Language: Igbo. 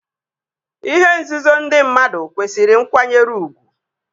Ihe nzuzo ndị mmadụ kwesịrị nkwanyere ugwu